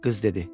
Qız dedi: